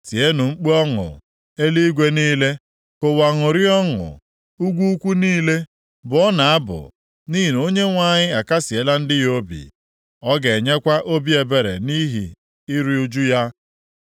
Tienụ mkpu ọṅụ, eluigwe niile; ka ụwa ṅụrịa ọṅụ. Ugwu ukwu niile, bụọnụ abụ, nʼihi na Onyenwe anyị akasịela ndị ya obi. Ọ ga-enwekwa obi ebere nʼihi iru ụjụ ha.